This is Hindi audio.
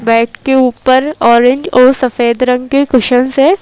बेड के ऊपर ऑरेंज और सफेद रंग के कुशंस से--